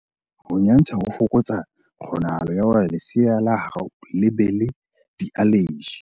Ho nyantsha ho fokotsa kgonahalo ya hore lesea la hao le be le dialeji.